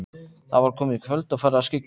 Það var komið kvöld og farið að skyggja.